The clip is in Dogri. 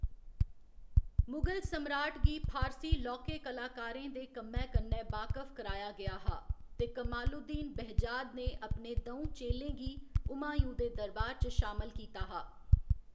मुगल सम्राट गी फारसी लौह्‌‌के कलाकारें दे कम्मै कन्नै बाकफ कराया गेआ हा, ते कमालुद्दीन बेहजाद ने अपने द'ऊं चेलें गी हुमायूँ दे दरबार च शामल कीता हा।